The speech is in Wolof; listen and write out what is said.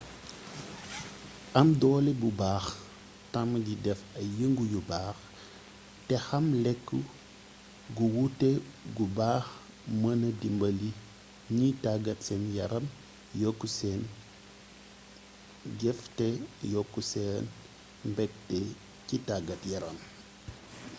am doolé bu baax tamm di déf ay yeengu yu baax té xam lékk gu wuté gu baax meenna dimbali gniy taggat sén yaram yokk sén jeef té yokk sén mbékté ci taggat yaram